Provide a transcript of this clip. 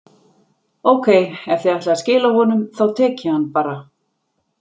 Ókei, ef þið ætlið að skila honum, þá tek ég hann bara.